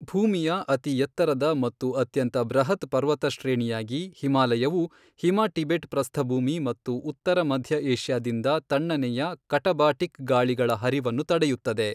ಭೂಮಿಯ ಅತಿ ಎತ್ತರದ ಮತ್ತು ಅತ್ಯಂತ ಬೃಹತ್ ಪರ್ವತ ಶ್ರೇಣಿಯಾಗಿ, ಹಿಮಾಲಯವು ಹಿಮ ಟಿಬೆಟ್ ಪ್ರಸ್ಥಭೂಮಿ ಮತ್ತು ಉತ್ತರ ಮಧ್ಯ ಏಷ್ಯಾದಿಂದ ತಣ್ಣನೆಯ ಕಟಬಾಟಿಕ್ ಗಾಳಿಗಳ ಹರಿವನ್ನು ತಡೆಯುತ್ತದೆ.